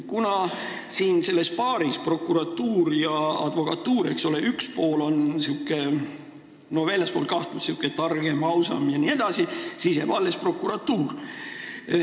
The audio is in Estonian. Kuna selles paaris – prokuratuur ja advokatuur, eks ole – üks pool on säärane väljaspool kahtlust, targem, ausam jne, siis jääb alles prokuratuur.